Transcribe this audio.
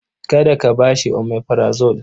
Kada ka ba shi omeprazole.